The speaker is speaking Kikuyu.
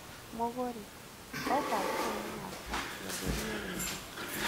Mũgũri, oka nduka-inĩ yakwa ngwenderie wega.